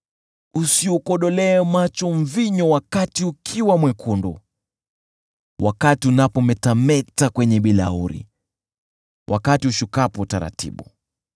Usiukodolee macho mvinyo wakati ukiwa mwekundu, wakati unapometameta kwenye bilauri, wakati ushukapo taratibu!